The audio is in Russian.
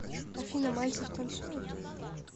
афина мальцев танцует